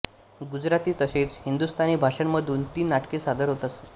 गुजराती तसेच हिंदुस्थानी भाषांमधून ती नाटके सादर होत असत